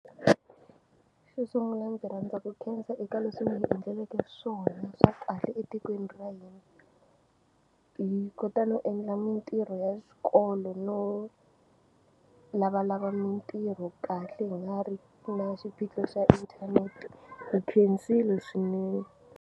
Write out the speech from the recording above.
Xo sunguna ndzi rhandza ku khensa eka leswi mi ndzi endleleke swona swa kahle etikweni ra hina hi kota no endla mintirho ya xikolo no lavalava mintirho kahle hi nga ri na xiphiqo xa inthanete hi khensile swinene.